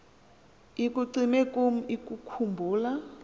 ikucime kum ukukhumbula